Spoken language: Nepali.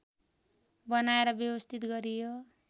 बनाएर व्यवस्थित गरियो